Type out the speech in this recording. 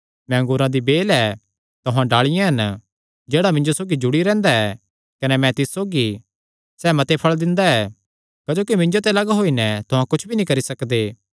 मैं अंगूरा दी बेल ऐ तुहां डाल़िआं हन जेह्ड़ा मिन्जो सौगी जुड़ी रैंह्दा ऐ कने मैं तिस सौगी सैह़ मते फल़ दिंदा ऐ क्जोकि मिन्जो ते लग्ग होई नैं तुहां कुच्छ भी नीं करी सकदे